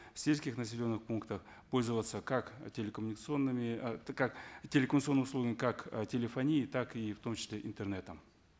в сельских населенных пунктах пользоваться как э телекоммуникационными э как телекоммуникационными услугами как э телефония так и в том числе интернетом